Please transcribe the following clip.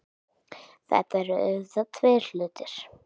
Þetta eru auðvitað tveir hlutir